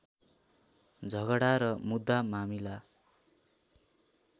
झगडा र मुद्दामामिला